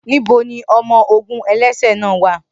Nibo ni ọmọ-ogun ẹlẹsẹ naa wa?